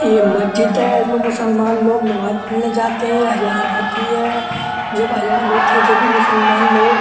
ये मस्जिद है। इसमें मुसलमान लोग नमाज़ पढ़ने जाते है। अजान होती है। जब अजान होती है जब ये मुसलमान लोग --